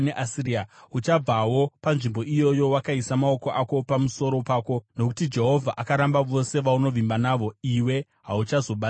Uchabvawo panzvimbo iyoyo wakaisa maoko ako pamusoro pako, nokuti Jehovha akaramba vose vaunovimba navo; iwe hauchazobatsirwi navo.